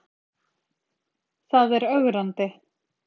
Það er ögrandi.